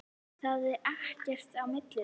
Það er ekkert á milli þeirra.